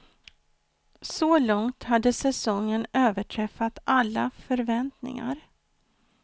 Så långt hade säsongen överträffat alla förväntningar.